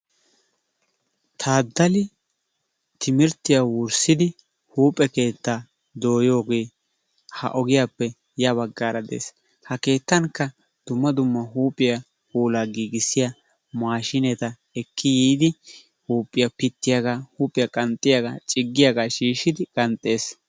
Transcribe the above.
Taaddali timirttiya wurssidi huuphphe keettaa dooyiogee ha ogiyappe ys baggaara dees. Ha keettankka dumma dumma huuphphiya puulaa giggissiya maashshineta ekki yiidi huuphphiya pittiyaga, huuphphiya ciggiyagga, qanxxiyaga shiishidi qanxxees.